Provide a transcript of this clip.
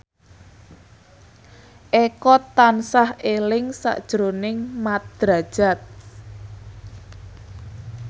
Eko tansah eling sakjroning Mat Drajat